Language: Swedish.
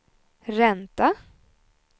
ränta